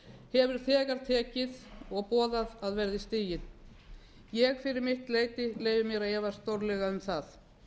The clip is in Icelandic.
hefur þegar tekið og boðað að verði stigið ég fyrir mitt leyti leyfi mér að efast stórlega um það